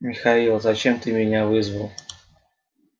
михаил зачем ты меня вызвал